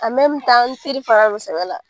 don sɛbɛ la